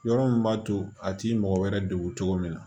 Yɔrɔ min b'a to a t'i mɔgɔ wɛrɛ degun cogo min na